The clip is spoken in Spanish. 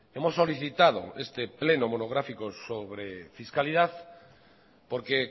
hemos solicitado este pleno monográfico sobre fiscalidad porque